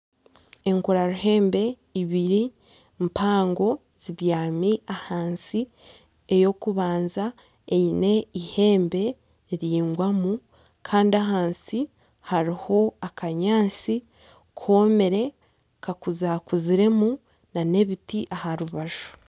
Enkura ruhembe ibiri mpango zibyami ahansi ekyokubanza eine eihembe riraingwamu kandi kandi ahansi hariho akanyaatsi komire kakuzakuziremu nana ebiti aha rubaju.